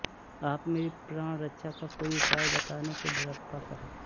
आप मेरी प्राणरक्षा का कोई उपाय बताने की ड्डपा करें